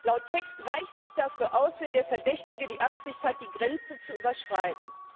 Laut Text reicht es dafür aus, wenn der Verdächtige die Absicht hat, die Grenze zu überschreiten.